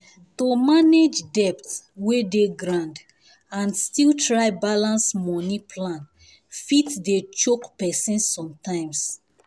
to manage debt wey dey ground and still try balance money plan fit dey choke person sometimes.